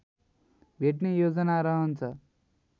भेट्ने योजना रहन्छ